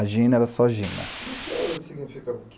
A Gina era só Gina. E o que significa